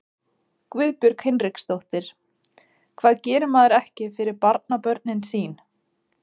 Guðbjörg Hinriksdóttir: Hvað gerir maður ekki fyrir barnabörnin sín?